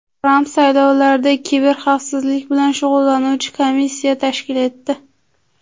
Tramp saylovlarda kiberxavfsizlik bilan shug‘ullanuvchi komissiya tashkil etdi.